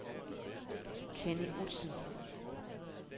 Kenny Outzen